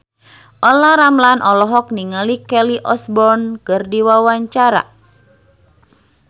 Olla Ramlan olohok ningali Kelly Osbourne keur diwawancara